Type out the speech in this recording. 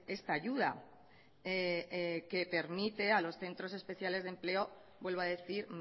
esta ayuda que permite a los centros especiales de empleo vuelvo a decir